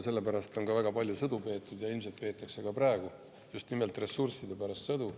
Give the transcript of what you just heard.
Sellepärast on ka väga palju sõdu peetud ja ilmselt peetakse ka praegu just nimelt ressursside pärast sõdu.